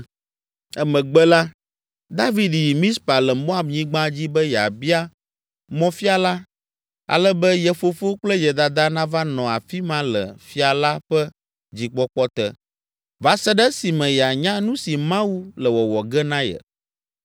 Emegbe la, David yi Mizpa le Moab nyigba dzi be yeabia mɔfiala ale be ye fofo kple ye dada nava nɔ afi ma le fia la ƒe dzikpɔkpɔ te, va se ɖe esime yeanya nu si Mawu le wɔwɔ ge na ye.